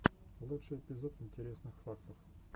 лучший эпизод интересных фактов